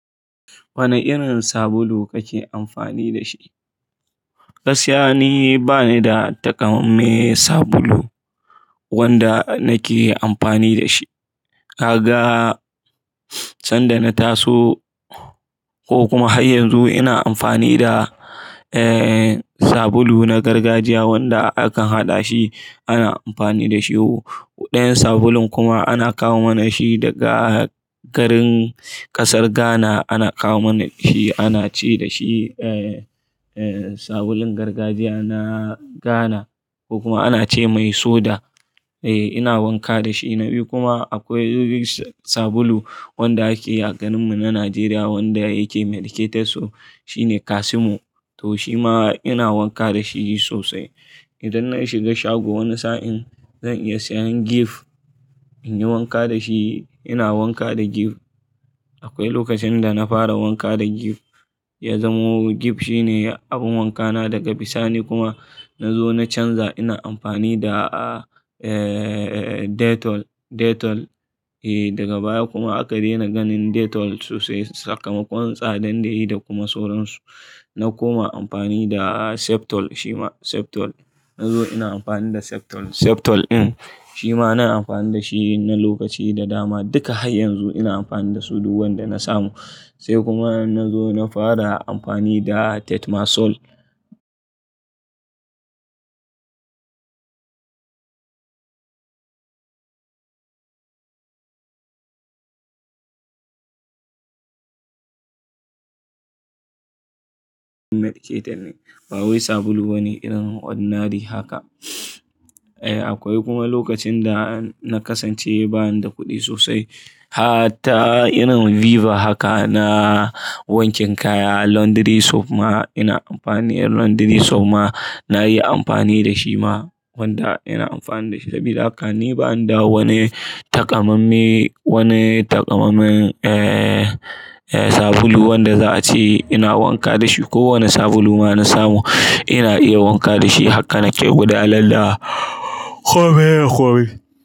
Wane irin sabulu kake amfani da shi? Gaskiya nibani da taƙamaime sabulu wanda nake amfani da shi. Kaga sanda na taso ko kuma har yanzu ina amfani da, eh, sabulu na gargajiya wanda akan haɗa shi ana amfani da shi. Ɗayan sabulun kuma ana kawo mana shi daga garin ƙasar Ghana, ana kawo mana shi ana ce da shi, eh, eh, sabulun gargajiya na Ghana ko kuma ana ce mai soda. Eh, ina wanka da shi. Na biyu kuma akwai sabulu wanda ake yi a garinmu na Najeriya wanda yake medicated soap so shine Casimo to shi ma ina wanka da shi sosai. Idan na shiga shago wani sa'in zan iya siyan Gift in yi wanka da shi. Ina wanka da Gift. Akwai lokacin da na fara wanka da Gift ya zamo Gift shine abun wankana daga bisa ni kuma na zo na canza ina amfani da, eh, Dettol, Dettol. Eh, daga baya kuma aka daina ganin Dettol sosai sakamakon tsadan da yayi da kuma soron su. Na koma amfani da Septol shi ma Septol. Na zo ina amfani da Septol, Septol in shi ma na amfani da shi na lokaci da dama. Duka har yanzu ina amfani da su duk wanda na samu. Se kuma na zo na fara amfani da Tetmasol. Medicated ne. Ba wai sabulu wani irin odnary haka. Eh, akwai kuma lokacin da na kasance bani da kuɗi sosai. Ha ta irin Viva haka na wankin kaya. Laundry soap ma ina amfani, laundry soap ma na yi amfani da shi ma wanda ina amfani da shi. Sabida haka ni bani da wani taƙamaimme, wani takamanmamen, eh, eh, sabulu wanda za a ce ina wanka da shi. Ko wani sabulu ma na samu ina iya wanka da shi haka ni ke gwada lalla.